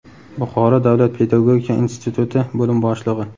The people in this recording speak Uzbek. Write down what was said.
Buxoro davlat pedagogika instituti bo‘lim boshlig‘i;.